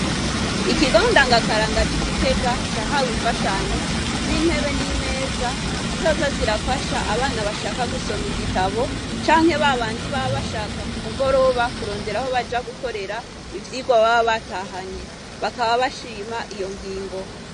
Ikigo ndangakaranga ci Gitega cahawe imfashanyo zintebe n'imeza zizoza zirafasha abana bashaka gusoma igitabu canke babandi baba bashaka kumugoroba kurondera aho baja gukorera ivyigwa baba batahanye bakaba bashima iyo ngingo.